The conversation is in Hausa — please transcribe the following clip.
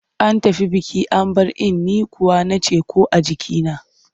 An tafi biki an bar in, ni kuwa na ce ‘ko a jikina.